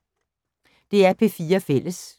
DR P4 Fælles